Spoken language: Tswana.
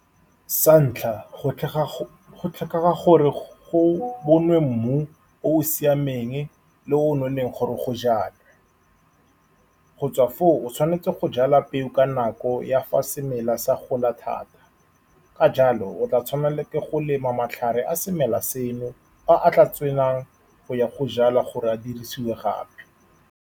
Sa ntlha, go go tlhokega gore go boniwe mmu o o siameng le o nonneng gore go jalwe. Go tswa foo, o tshwanetse go jala peo ka nako ya fa semela sa gola thata. Ka jalo, o tla tshwanelwa ke go lema matlhare a semela seno, a a tla tswelelang go ya go jalwa gore a dirisiwe gape.